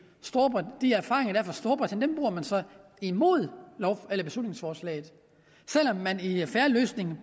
erfaringer der er fra storbritannien imod beslutningsforslaget selv om man i fair løsning